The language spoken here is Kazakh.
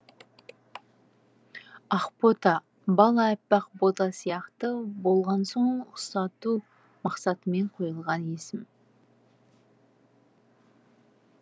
ақбота бала аппақ бота сияқты болған соң ұқсату мақсатымен қойылған есім